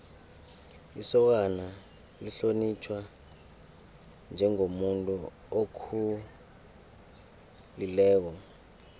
isokana lihlonitjhwa njengomuntu okhulileko